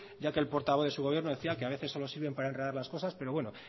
ya que el portavoz de su gobierno decía que a veces solo sirven para enredar las cosas pero bueno